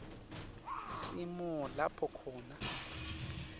simo lapho khona